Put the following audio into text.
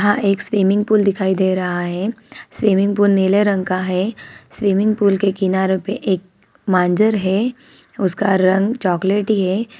यहाँ एक पर स्विमिंग पूल दिखाई दे रहा है स्विमिंग पूल नीले रंग का है स्विमिंग पूल के किनारो पे एक मांजर है उसका रंग चोकलेटी है।